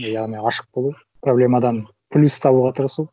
яғни ашық болу проблемадан плюс табуға тырысу